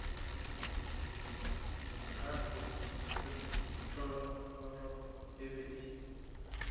gape thogorogo e be e